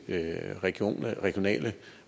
regionale regionale